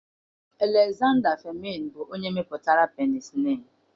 Alezanda Fleemịn bụ onye mepụtara penicịlin.